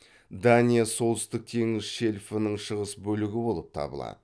дания солтүстік теңіз шельфінің шығыс бөлігі болып табылады